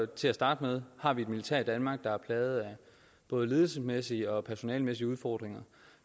til at starte med har vi et militær i danmark der er plaget af både ledelsesmæssige og personalemæssige udfordringer